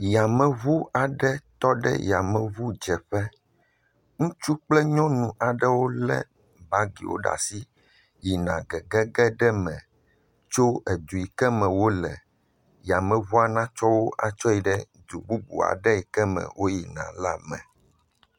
Yameŋu aɖe tɔ ɖe yameŋudzeƒe. Ŋutsu kple nyɔnu aɖewo lé bagiwo ɖe asi yina gegege ɖe me tso edu yi ke me wole. Yameŋua natsɔ wo atsɔ yi ɖe du bubu aɖe yi ke me woyina la me.